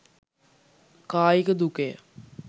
කායික දුකය.